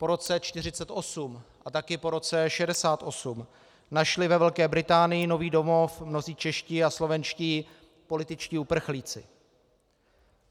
Po roce 1948 a také po roce 1968 našli ve Velké Británii nový domov mnozí čeští a slovenští političtí uprchlíci.